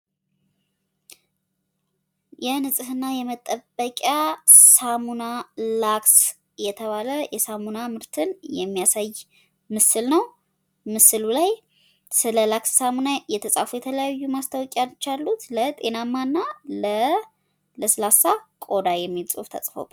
የንፅህና መጠበቅያ ላክስ የተባለ ሳሙና የሚያሳይ ምስል ነው ።ምስሉ ላይ ስለ ላክስ ሳሙና የተፃፉ ፅሁፎች አሉት። ጤናማና ለለስላሳ ቆዳ ሚል ፅሁፍ አለው።